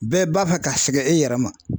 Bɛɛ b'a fɛ ka sɛgɛn e yɛrɛ ma